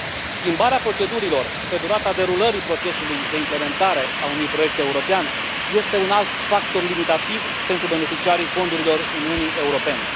Schimbarea procedurilor pe durata derulării procesului de implementare a unui proiect european este un alt factor limitativ pentru beneficiarii fondurilor Uniunii Europene.